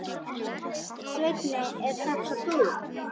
Svenni, ert það þú!?